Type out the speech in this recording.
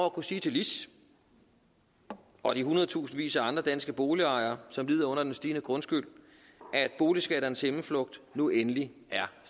at kunne sige til lis og de hundredtusindvis af andre danske boligejere som lider under den stigende grundskyld at boligskatternes himmelflugt nu endelig er